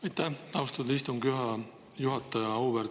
Aitäh, austatud istungi juhataja!